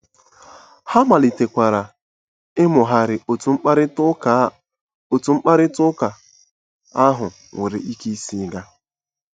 Ha malitekwara ịmụgharị otú mkparịta ụka otú mkparịta ụka ahụ nwere ike isi gaa.